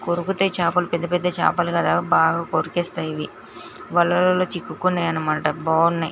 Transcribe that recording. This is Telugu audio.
కొరుకుతాయ్ చాపలు పెద్దపెద్ద చాపలు బాగా కొరికేస్తాయి ఇవి వలలో చిక్కుకున్నాయన్నమాట బాగున్నాయి.